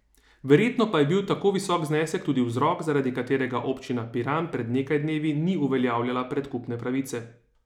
Verjetno pa je bil tako visok znesek tudi vzrok, zaradi katerega občina Piran pred nekaj dnevi ni uveljavljala predkupne pravice.